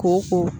Kɔn